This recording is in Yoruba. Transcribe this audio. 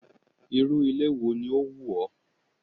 Irú ilé wo ni ó wù ọ́?